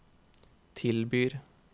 tilbyr